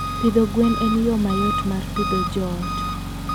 Pidho gwen en yo mayot mar pidho joot.